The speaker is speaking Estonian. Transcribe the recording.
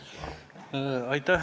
Palun!